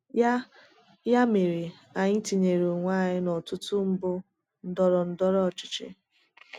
Ya Ya mere, anyị tinyere onwe anyị n’ọtụtụ mbọ ndọrọ ndọrọ ọchịchị.